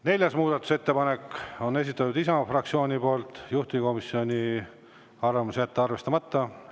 Neljanda muudatusettepaneku on esitanud Isamaa fraktsioon, juhtivkomisjoni arvamus: jätta arvestamata.